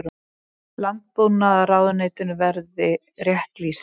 Landbúnaðarráðuneytinu verið rétt lýst.